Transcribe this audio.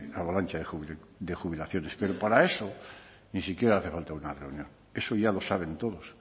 avalancha de jubilaciones pero para eso ni siquiera hace falta una reunión eso ya lo saben todos